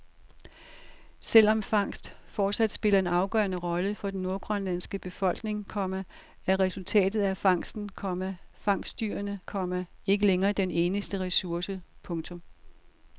Selv om fangst fortsat spiller en afgørende rolle for den nordgrønlandske befolkning, komma er resultatet af fangsten, komma fangstdyrene, komma ikke længere den eneste ressource. punktum